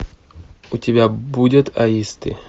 у тебя будет аисты